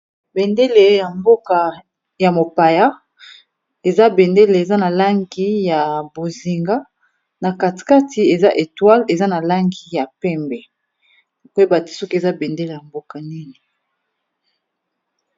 Bendele ya mboka ya mopaya eza bendele eza na langi ya bozinga, na kati kati eza etoile eza na langi ya pembe, koyeba te soki eza bendele ya mboka nini.